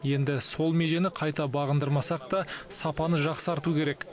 енді сол межені қайта бағындырмасақ та сапаны жақсарту керек